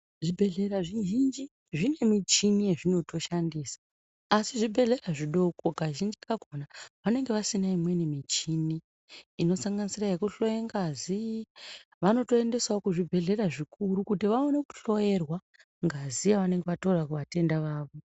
Zvi bhedhlera zvi zhinji zvine michini ye zvinoto shandisa asi zvibhedhlera zvidoko kazhinji kakona vanenge vasina imweni michini ino sanganisira yeku hloya ngazi vanoto endesawo ku zvibhedhlera zvikuru kuti vaone ku hloyerwa ngazi yavanenge vatora ku vatenda vavo.